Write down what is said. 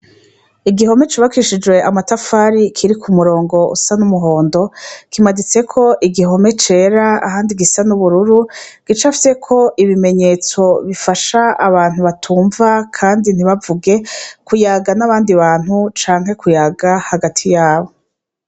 Igihome cubakishijwe amatafari kiriko umurongo usa n'umuhondo, kimaditseko igihome cera ahandi gisa n'ubururu gicafyeko ibimenyetso bifasha abantu batumva kandi ntibavuge kuyaga n'abandi bantu canke kuyaga hagati yabo.